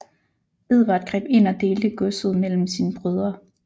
Edvard greb ind og delte godset mellem sine brødre